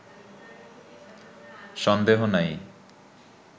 সন্দেহ নাই